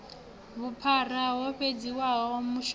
vhuphara ho sedziwa mashumele a